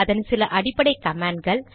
அதன் சில அடிப்படை கமாண்ட்கள்